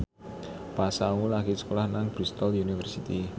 Pasha Ungu lagi sekolah nang Bristol university